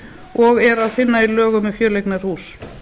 og er að finna í lögum um fjöleignarhús